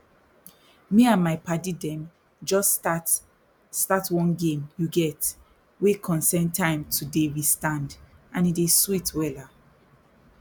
me and my padi dem jus start start one game you get wey concern time to dey restand e dey sweet wella